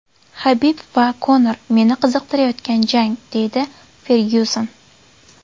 Habib va Konor meni qiziqtirayotgan jang”, deydi Fergyuson.